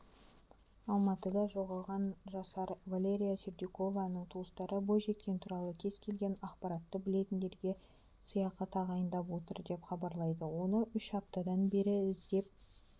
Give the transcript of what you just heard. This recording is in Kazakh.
алматыда жоғалған жасар валерия сердюкованың туыстары бойжеткен туралы кез-келген ақпаратты білетіндерге сыйақы тағайындап отыр деп хабарлайды оны үш аптадан бері іздеп